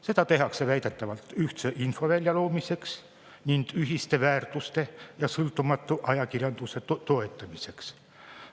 Seda tehakse väidetavalt ühtse infovälja loomiseks ning ühiste väärtuste ja sõltumatu ajakirjanduse toetamiseks.